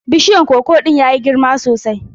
Bishiyan koko ɗin ya yi girma sosai.